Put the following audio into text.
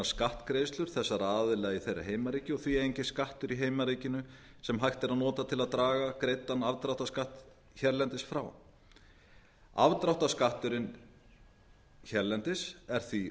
skattgreiðslur þessara aðila í þeirra heimaríki og því er enginn skattur í heimaríkinu sem hægt er að nota til að draga greiddan afdráttarskatt hérlendis frá afdráttarskatturinn hérlendis er því